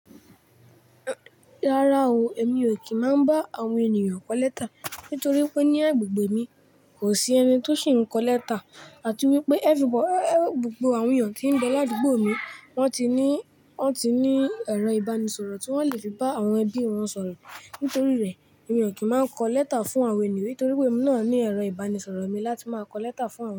Rárá o, èmi ò kí máa ń bá àwọn ènìyàn kọ lẹ́tà nítorí pé ní agbègbè mi kò sí ẹni tó sì ń kọ lẹ́tà àti wípé gbogbo àwọn ènìyàn tí ń gbé ládùúgbò mi wón ti ní, wón ti ní ẹ̀rọ ìbánisọ̀rọ̀ tí wón lè fi bá àwọn ẹbí wọn sọ̀rọ̀. Nítorí rẹ̀, èmi ò kí máa ń kọ lẹ́tà fún àwọn ènìyàn nítorí pé mo náà ní ẹ̀rọ ìbánisọ̀rọ̀ mi láti máa kọ lẹ́tà fún àwọn ènìyàn.